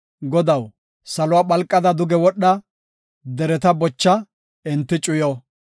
Godaw, saluwa phalqada duge wodha! dereta bocha; enti cuyo!